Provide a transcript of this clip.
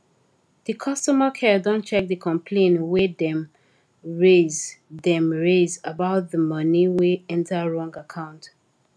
di customer care don check the complain wey dem raise dem raise about di money wey enter wrong account